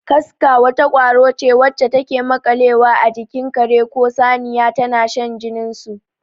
Kaska wata ƙwaro ce wacce take maƙalewa a jikin kare ko saniya tana shan jinin su.